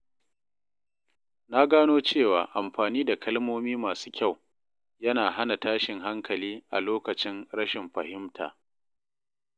Na gano cewa amfani da kalmomi masu kyau yana hana tashin hankali a lokacin rashin fahimta.